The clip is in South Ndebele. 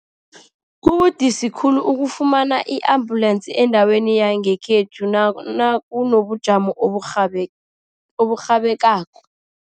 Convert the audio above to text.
Kubudisi khulu ukufumana i-ambulensi endaweni yangekhethu nakunobujamo oburhabekako.